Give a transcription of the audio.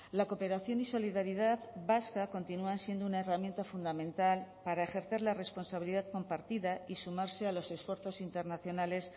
la cooperación y solidaridad vasca continúan siendo una herramienta fundamental para ejercer la responsabilidad compartida y sumarse a los esfuerzos internacionales